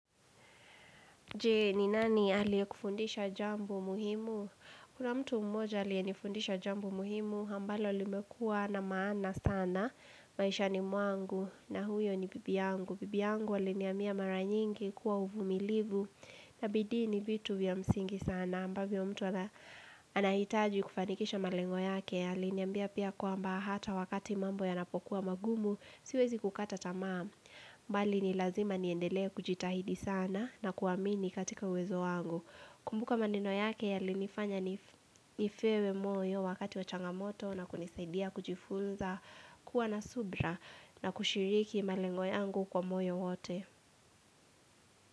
Je, ni nani aliyekufundisha jambo muhimu? Kuna mtu mmoja aliyenifundisha jambo muhimu, ambalo limekuwa na maana sana maishani mwangu, na huyo ni bibi yangu. Bibi yangu aliniambia mara nyingi, kuwa uvumilivu na bidii ni vitu vya msingi sana ambavyo mtu anahitaji kufanikisha malengo yake. Aliniambia pia kwamba hata wakati mambo yanapokuwa magumu, siwezi kukata tamaa. Bali ni lazima niendelee kujitahidi sana, na kuamini katika uwezo wangu. Kumbuka maneno yake yalinifanya nipewe moyo wakati wa changamoto na kunisaidia kujifunza kuwa na subira na kushiriki malengo yangu kwa moyo wote.